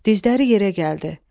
Dizləri yerə gəldi.